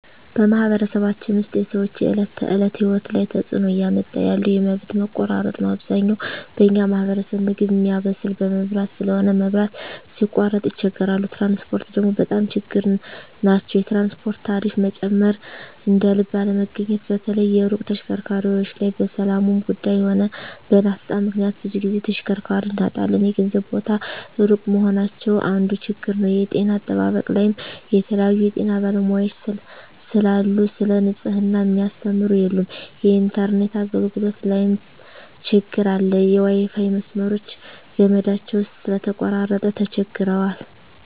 በማኅበረሰባችን ውስጥ የሰዎች የዕለት ተእለት ህይወት ላይ ትጽእኖ እያመጣ ያለው የመብት መቆራረጥ ነዉ አብዛኛው በኛ ማህበረሰብ ምግብ ሚያበስል በመብራት ስለሆነ መብራት ሲቃረጥ ይቸገራሉ ትራንስፖርት ደግሞ በጣም ችግር ናቸዉ የትራንስፖርት ታሪፋ መጨመር እደልብ አለመገኘት በተለይ የሩቅ ተሽከርካሪዎች ላይ በሠላሙም ጉዱይ ሆነ በናፍጣ ምክንያት ብዙ ግዜ ተሽከርካሪ እናጣለን የገበያ ቦታ እሩቅ መሆናቸው አንዱ ችግር ነዉ የጤና አጠባበቅ ላይም የተለያዩ የጤና ባለሙያዎች ስለሉ ሰለ ንጽሕና ሚያስተምሩ የሉም የኢንተርነት አገልግሎት ላይም ትግር አለ የዋይፋይ መስመሮች ገመዳቸው ስለተቆራረጠ ተቸግረዋል